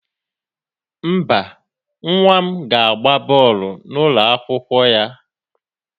Mba, nwa m ga-agba bọọlụ n'ụlọ akwụkwọ ya.